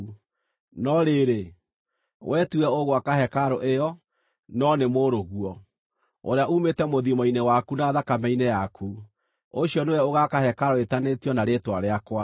No rĩrĩ, wee tiwe ũgwaka hekarũ ĩyo, no nĩ mũrũguo, ũrĩa uumĩte mũthiimo-inĩ waku na thakame-inĩ yaku, ũcio nĩwe ũgaaka hekarũ ĩĩtanĩtio na Rĩĩtwa rĩakwa.’